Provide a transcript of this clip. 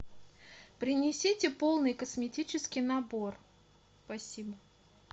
принесите полный косметический набор спасибо